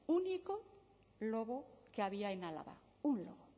único lobo que había en álava un lobo